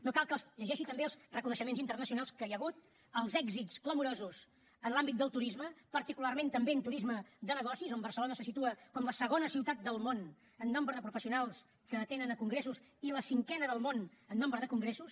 no cal que els llegeixi també els reconeixements internacionals que hi ha hagut els èxits clamorosos en l’àmbit del turisme particularment també en turisme de negocis on barcelona se situa com la segona ciutat del món en nombre de professionals que atenen a congressos i la cinquena del món en nombre de congressos